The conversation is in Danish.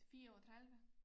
34